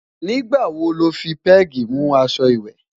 nígbà wò ló fí pegi mú aṣọ ìwé?